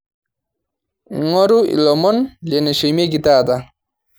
ng'oru ilomon leneshumieki etaata